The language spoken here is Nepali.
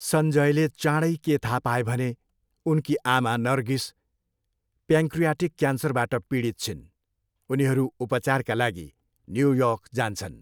सञ्यजले चाँडै के थाहा पाए भने उनकी आमा नरगिस प्यान्क्रियाटिक क्यान्सरबाट पीडित छिन्। उनीहरू उपचारका लागि न्युयोर्क जान्छन्।